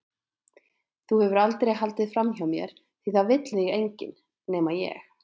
Þú hefur aldrei haldið framhjá mér því það vill þig enginn- nema ég.